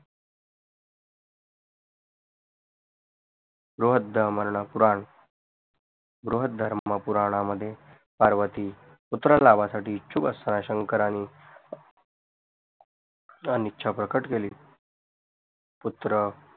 बृहदधर्म पुराण बृहधर्म पुराणामध्ये पार्वती पुत्र लाभा साठी इच्छुक असताना शंकरणी अनइच्छा प्रकट केली पुत्र